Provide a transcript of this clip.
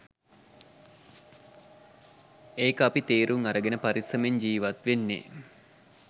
එක අපි තේරුම් අරගෙන පරිස්සමෙන් ජීවත් වෙන්නේ.